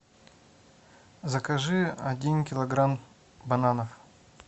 закажи один килограмм бананов